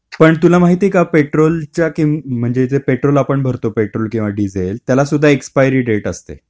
पण तुला माहित आहे का पेट्रोलच्या किंम.. म्हणजे जे पेट्रोल आपण भरतो ते पेट्रोल किंवा डिझेल, त्याला सुद्धा एक्सपायरी डेट असते.